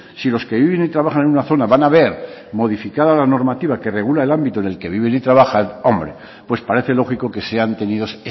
si los que viven y trabajan en una zona van a ver modificada la normativa que regula el ámbito en el que viven y trabajan hombre pues parece lógico que sean tenidas